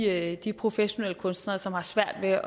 er de professionelle kunstnere som har svært ved at